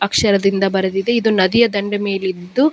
ಅಕ್ಷರದಿಂದ ಬರೆದಿದೆ ಇದು ನದಿಯ ದಂಡೆಯ ಮೇಲಿದ್ದು --